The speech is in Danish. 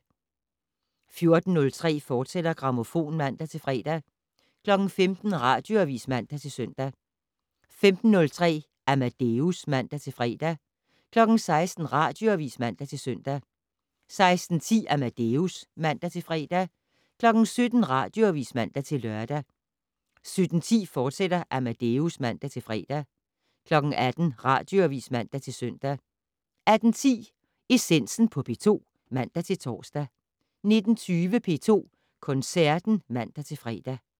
14:03: Grammofon, fortsat, (man-fre) 15:00: Radioavis (man-søn) 15:03: Amadeus (man-fre) 16:00: Radioavis (man-søn) 16:10: Amadeus (man-fre) 17:00: Radioavis (man-lør) 17:10: Amadeus, fortsat (man-fre) 18:00: Radioavis (man-søn) 18:10: Essensen på P2 (man-tor) 19:20: P2 Koncerten (man-fre)